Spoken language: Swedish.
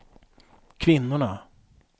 kvinnorna